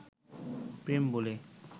প্রেম বলে